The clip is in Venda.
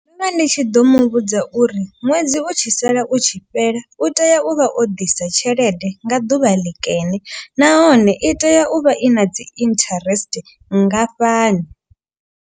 Ndo vha ndi tshi ḓo mu vhudza uri ṅwedzi u tshi sala u tshi fhela. U tea u vha o ḓisa tshelede nga ḓuvha ḽi kene nahone i tea u vha i na dzi interest nngafhani.